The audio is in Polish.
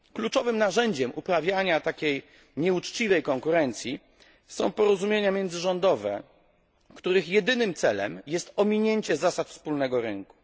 Kluczowym narzędziem uprawiania takiej nieuczciwej konkurencji są porozumienia międzyrządowe, których jedynym celem jest ominięcie zasad wspólnego rynku.